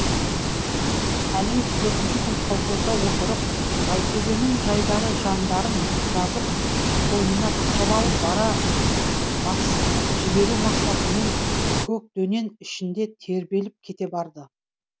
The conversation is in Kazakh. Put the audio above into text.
тәлиев төртінші күн колхозда отырып жайтөбенің жайдары жандарын жазып қойнына тығып алып бара басқызып жіберу мақсатымен көк дөнен ішінде тербеліп кете барды